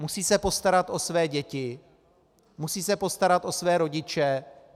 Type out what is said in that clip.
Musí se postarat o své děti, musí se postarat o své rodiče.